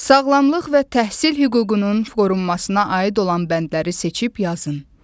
Sağlamlıq və təhsil hüququnun qorunmasına aid olan bəndləri seçib yazın.